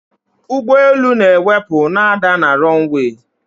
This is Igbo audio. ụgbọelu na-ewepụ na ada na runway